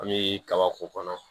An bɛ kaba k'u kɔnɔ